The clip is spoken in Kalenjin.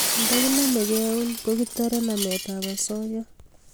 nda kinamgei eun ko kitare nanet ab asoya